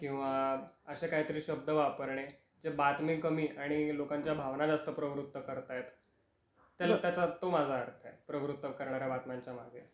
किंवा अश्या काहीतरी शब्द वापरणे जे बातमी कमी आणि लोकांच्या भावना जास्त प्रवृत्त करत आहेत, त्याला त्याचा तो माझा अर्थ आहे प्रवृत्त करणाऱ्या बातम्यानच्या मागे.